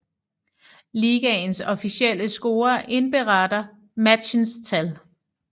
Ligaens officielle scorer indberetter matchens tal